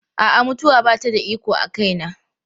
A'a, mutuwa ba ta da iko a kaina.